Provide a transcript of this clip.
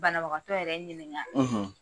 Banabagatɔ yɛrɛ ɲininka.